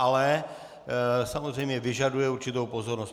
Ale samozřejmě vyžaduje určitou pozornost.